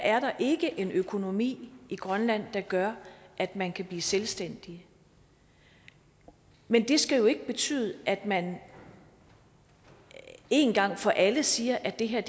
er der ikke en økonomi i grønland der gør at man kan blive selvstændig men det skal jo ikke betyde at man én gang for alle siger at det her